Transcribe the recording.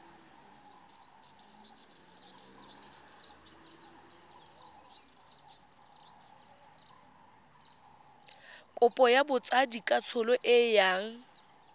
kopo ya botsadikatsholo e yang